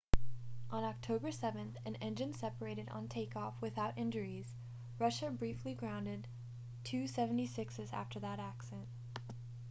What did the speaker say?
on october 7 an engine separated on takeoff without injuries russia briefly grounded il-76s after that accident